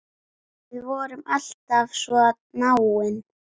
Við vorum alltaf svo náin.